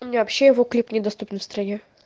у меня вообще его клип недоступен в стране